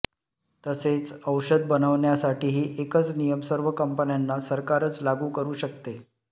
तसेच औषध बनवण्यासाठीही एकच नियम सर्व कंपन्यांना सरकारच लागू करू शकते